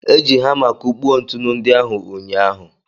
Eji hamma kukpuo ntụnụ ndị ahu ụnyaahụ.